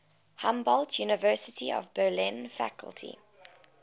humboldt university of berlin faculty